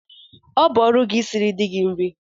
Ọ bụ ọrụ gị isiri di gị nri!